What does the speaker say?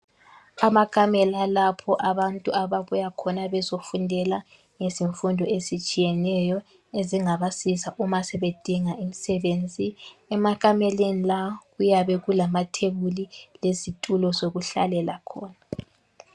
Amakamela alapho abantu ababuya khona bezofundela ezemfundo ezitshiyeneyo, ezingabasiza uma sebedinga imisebenzi .Emakameleni la kuyabe kulamathebuli lezitulo zokuhlalela khona.